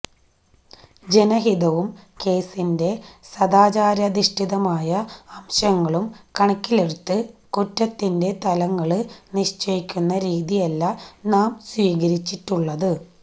ജനഹിതവും കേസിന്റെ സദാചാരാധിഷ്ഠിതമായ അംശങ്ങളും കണക്കിലെടുത്ത് കുറ്റത്തിന്റെ തലങ്ങള് നിശ്ചയിക്കുന്ന രീതിയല്ല നാം സ്വീകരിച്ചിട്ടുള്ളത്